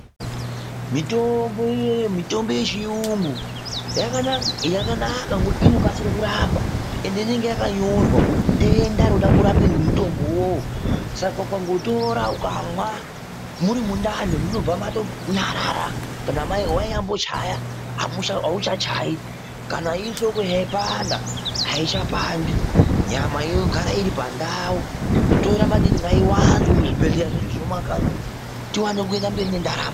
Mitombo yechiyungu yakanaka ngekuti inokasire kurapa ende inonge yakanyorwe denda rinode kurapwa ngemutombo uwowo saka ukangotora ukamwa muri mundani munobva matonyarara kana wanyambochaya auchachayi kana irihloko yaipanda aichapandi nyama yogara iri pandau toda maningi ngaiwande muzvibhedhleya zvedu zvemumakanyi umu tiwane kuende mberi ngendaramo.